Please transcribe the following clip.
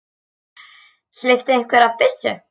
Hleypti einhver af byssu?